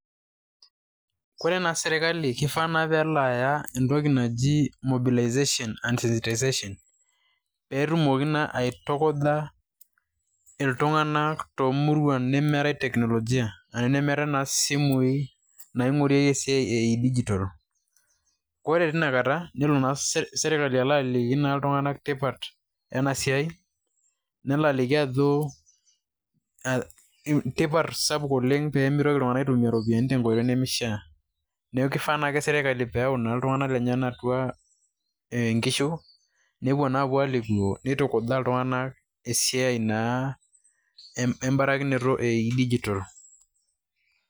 Kore naa sirkali kifaa naa peelo aya entoki naji mobilization and sensitization pee etumoki naa aitukuja iltung'anak te muruan nemeetai teknolojia ashu nemeetai naa isimui naing'orieki esiai e dijital. Kore tina kata nelo naa sirkali alo aliki naa iltung'anak tipat ena siai, nelo aliki ajo tipat sapuk oleng pee mitoki iltung'anak aitumia impesai tenkoitoi nemishaa. Neeku kifaa naake sirkali peeyau iltung'anak leyenak atua inkishu nepuo naa apuo alikio nitujaa iltung'anak esiai naa embarikinoto o dijital.